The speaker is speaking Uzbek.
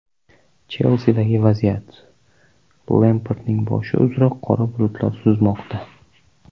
"Chelsi"dagi vaziyat: Lempardning boshi uzra qora bulutlar suzmoqda.